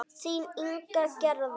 Þín Inga Gerða.